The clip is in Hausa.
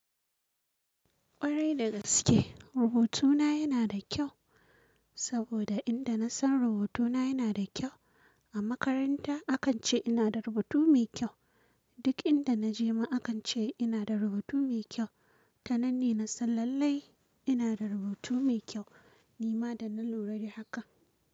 Ƙwarai dagaske rubutuna yana da kyau, saboda inda nasan rubutuna yana da kyau. A makaranta akan ce ina da rubutu mai kyau. Duk inda naje ma akan ce ina da rubutu mai kyau. Tananne nasan lallai ina da rubutu mai kyau. Ni ma dana lura da haka.